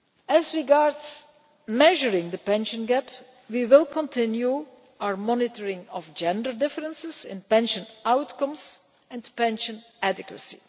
As regards measuring the pension gap, we will continue our monitoring of gender differences in pension outcomes and pension adequacy.